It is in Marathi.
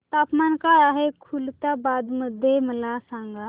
तापमान काय आहे खुलताबाद मध्ये मला सांगा